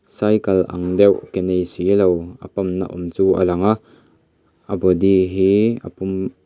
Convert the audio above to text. cycle ang deuh ke nei silo a pump na awm chu a lang a a body hi a pum a--